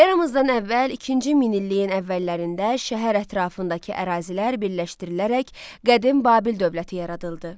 Eradan əvvəl ikinci minilliyin əvvəllərində şəhər ətrafındakı ərazilər birləşdirilərək Qədim Babil dövləti yaradıldı.